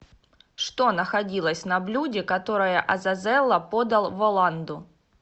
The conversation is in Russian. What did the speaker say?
что находилось на блюде которое азазелло подал воланду